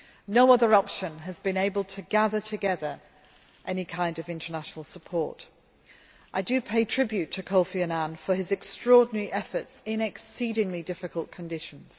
No other option has been able to gather together any kind of international support. I do pay tribute to Kofi Annan for his extraordinary efforts in exceedingly difficult conditions.